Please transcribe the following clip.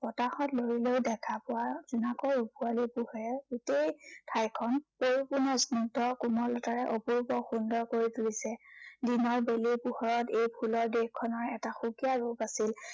বতাহত লৰিলেও দেখা পোৱা জোনাকৰ ৰূপোৱালী পোহৰে গোটেই ঠাইখন পৰিপূৰ্ণ স্নিগ্ধ কোমলতাৰে অপূৰ্ব সুন্দৰ কৰি তুলিছে। দিনৰ বেলিৰ পোহৰত এই ফুলৰ দেশখনৰ এটা সুকীয়া ৰূপ আছিল।